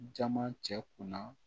Jama cɛ kunna